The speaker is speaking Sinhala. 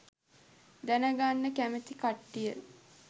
දැනගන්න කැමති කට්ටිය